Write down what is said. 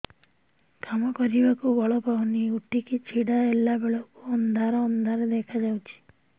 କାମ କରିବାକୁ ବଳ ପାଉନି ଉଠିକି ଛିଡା ହେଲା ବେଳକୁ ଅନ୍ଧାର ଅନ୍ଧାର ଦେଖା ଯାଉଛି